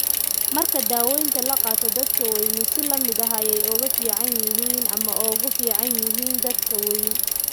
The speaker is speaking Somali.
Marka daawaynta la qaato, dadka waaweyni si la mid ah ayay u fiican yihiin ama uga fiican yihiin dadka waaweyn.